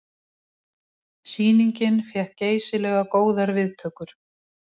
Sýningin fékk geysilega góðar viðtökur